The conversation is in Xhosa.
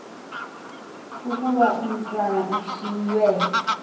ukuba umatwana ushiywe